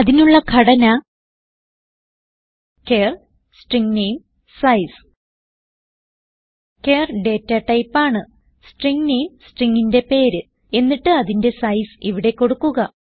അതിനുള്ള ഘടന char string name size char data type ആണ് സ്ട്രിംഗ് നാമെ stringന്റെ പേര് എന്നിട്ട് അതിന്റെ സൈസ് ഇവിടെ കൊടുക്കുക